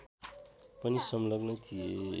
पनि संलग्न थिए